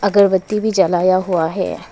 अगरबत्ती भी जलाया हुआ है।